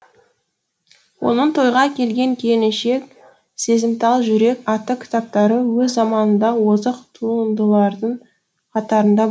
оның тойға келген келіншек сезімтал жүрек атты кітаптары өз заманында озық туындылардың қатарында